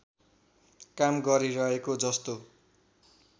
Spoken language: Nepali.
काम गरिरहेको जस्तो